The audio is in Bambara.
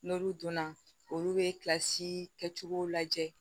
N'olu donna olu bɛ kilasi kɛcogow lajɛ